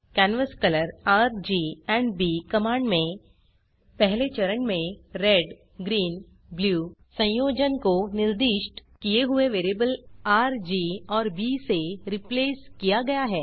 canvas colour RG और B command में पहले चरण में रेड ग्रीन ब्लू संयोजन को निर्दिष्ट किए हुए वेरिएबल आर जी और बी से रिप्लेस किया गया है